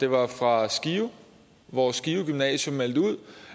var fra skive hvor skive gymnasium meldte ud